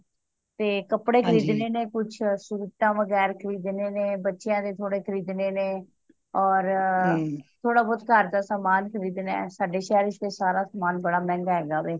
ਤੇ ਕੱਪੜੇ ਖਰੀਦਣੇ ਨੇ ਕੁੱਛ ਸੂਟਾਂ ਵਗੈਰਾਹ ਖਰੀਦਣੇ ਨੇ ਬੱਚਿਆਂ ਦੇ ਥੋੜੇ ਖਰੀਦਣੇ ਨੇ ਔਰ ਥੋੜਾ ਬਹੁਤ ਘਰ ਦਾ ਸਮਾਨ ਖਰੀਦਣਾ ਸਾਡੇ ਸ਼ਹਿਰ ਵਿਚ ਤੇ ਸਾਰਾ ਸਮਾਨ ਬੜਾ ਮਹਿੰਗਾ ਹੈਗਾ ਵੇ